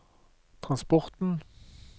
transporten